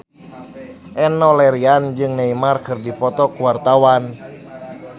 Enno Lerian jeung Neymar keur dipoto ku wartawan